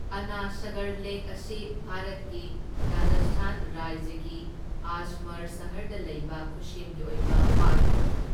ꯑꯅ ꯁꯥꯒꯔ ꯂꯦꯛ ꯑꯁꯤ ꯚꯥꯔꯠꯀꯤ ꯔꯥꯖꯁꯊꯥꯟ ꯔꯥꯏꯖ꯭ꯌꯒꯤ ꯑꯖꯃꯔ ꯁꯍꯔꯗ ꯂꯩꯕ ꯈꯨꯁꯦꯝꯒꯤ ꯑꯣꯏꯕ ꯄꯥꯠ ꯑꯃꯅꯤ꯫